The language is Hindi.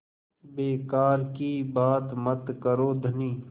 बेकार की बात मत करो धनी